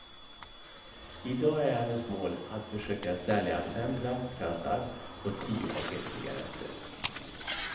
I dag är hennes mål att försöka sälja fem plastkassar och tio paket cigaretter.